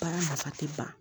Baara nafa ti ban